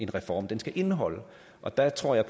reform skal indeholde og der tror jeg